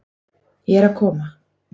Ég er að koma.